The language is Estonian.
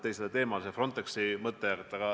See Frontexi mõte.